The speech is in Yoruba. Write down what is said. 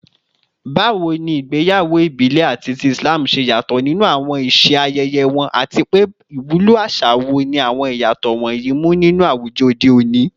Bawo ni igbeyawo ibile ati ti Islam ṣe yato ninu awọn iṣe ayẹyẹ wọn, ati pe iwulo aṣa wo ni awọn iyatọ wọnyi mu ni awujọ ode oni?